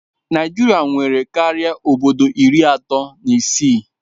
Naijiria nwere karịa obodo iri atọ na isii